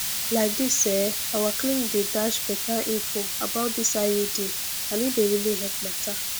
like dis ehh our clinic dey dash better info about this iud and e dey really help matter